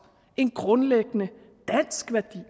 en grundlæggende dansk værdi